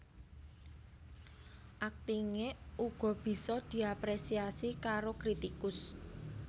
Aktingé uga bisa diaprésiasi karo kritikus